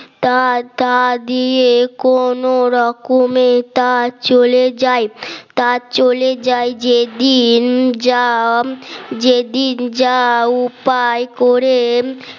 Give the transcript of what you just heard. টাকা দিয়ে কোন রকমে তা চলে যায় তা চলে যায় যেদিন জাম যেদিন যা উপায় করে